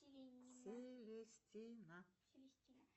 селестина